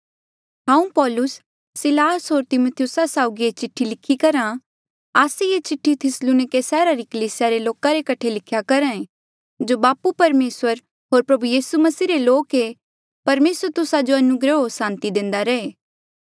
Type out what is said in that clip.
हांऊँ पौलुस सिलास होर तिमिथियुस साउगी ये चिठ्ठी लिखी करहा आस्से ये चिठ्ठी थिस्सलुनिके सैहरा री कलीसिया रे लोका रे कठे लिख्या करहा ऐें जो बापू परमेसर होर प्रभु यीसू मसीह रे लोक ऐें परमेसर तुस्सा जो अनुग्रह होर सांति दे